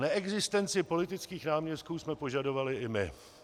Neexistenci politických náměstků jsme požadovali i my.